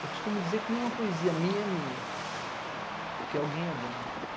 Eu costumo dizer que nenhuma poesia minha é minha, porque alguém é dono.